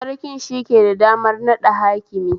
Sarkin shike da damar naɗa hakimi